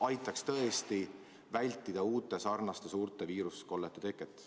See aitaks tõesti vältida selliste uute suurte viirusekollete teket.